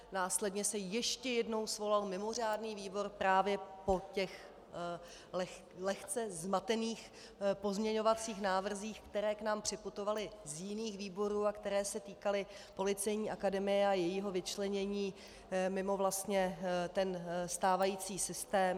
Následně se ještě jednou svolal mimořádný výbor právě po těch lehce zmatených pozměňovacích návrzích, které k nám připutovaly z jiných výborů a které se týkaly Policejní akademie a jejího vyčlenění mimo vlastně ten stávající systém.